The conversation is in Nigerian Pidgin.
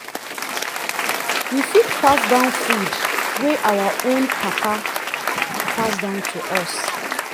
we fit pass down food wey our own father pass down to us